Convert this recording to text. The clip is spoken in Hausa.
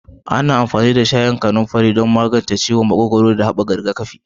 Ana amfani da shayin kananfari don magance ciwon makogwaro, haɓaka rigakafi.